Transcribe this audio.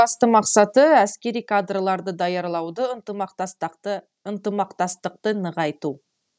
басты мақсаты әскери кадрларды даярлауды ынтымақтастықты нығайту